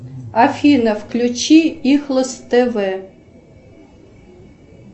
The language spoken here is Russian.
афина включи ихлес тв